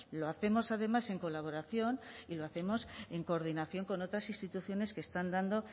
lo hacemos además en colaboración y lo hacemos en coordinación con otras instituciones que están dando